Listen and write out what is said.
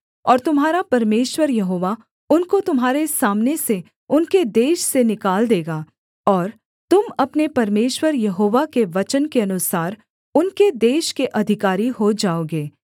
और तुम्हारा परमेश्वर यहोवा उनको तुम्हारे सामने से उनके देश से निकाल देगा और तुम अपने परमेश्वर यहोवा के वचन के अनुसार उनके देश के अधिकारी हो जाओगे